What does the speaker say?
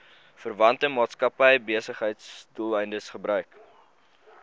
verwante maatskappybesigheidsdoeleindes gebruik